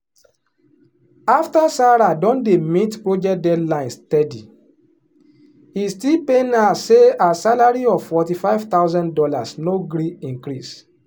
after sarah don dey meet project deadline steady e still pain her say her salary of forty five thousand dollars no gree increase.